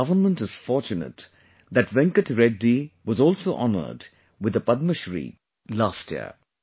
Our Government is fortunate that Venkat Reddy was also honoured with the Padmashree last year